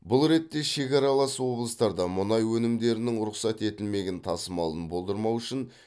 бұл ретте шекаралас облыстарда мұнай өнімдерінің рұқсат етілмеген тасымалын болдырмау үшін